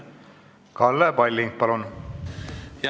Kalle Palling, palun!